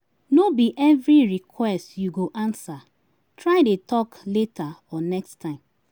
No bi evri request yu go ansa, try dey tok later or next time